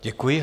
Děkuji.